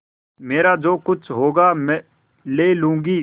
मेरा जो कुछ होगा ले लूँगी